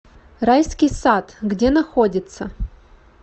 райский сад где находится